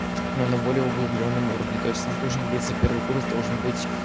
ну более углублённом уровне там должен быть за первый курс должен быть